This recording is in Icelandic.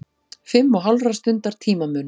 Fimm og hálfrar stundar tímamunur.